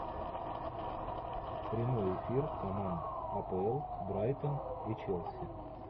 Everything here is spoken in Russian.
прямой эфир команд апл брайтон и челси